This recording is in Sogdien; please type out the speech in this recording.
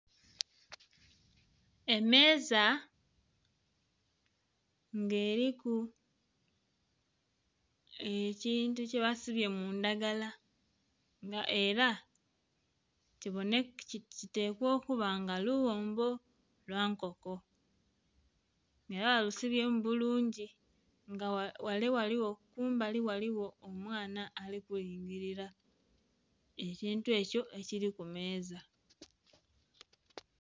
Emeeza nga eriku ekintu kye basibye mundhagala nga era kitekwa okuba nga lughombbo lwa nkoko era balusibyemu bulungi, nga ghale ghaligho kumbali ghaligho omwana ali ku lingilila ekintu ekyo ekili ku meeza.